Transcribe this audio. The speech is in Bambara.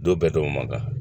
Don bɛɛ to man kan